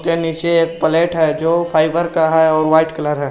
के नीचे एक प्लेट है जो फाइबर का है और वाइट कलर है।